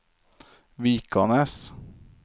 Vikanes